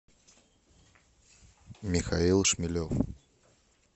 михаил шмелев